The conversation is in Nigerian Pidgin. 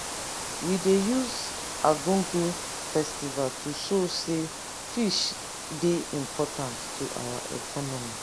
we dey use argungu festival to show sey fish dey important to our economy.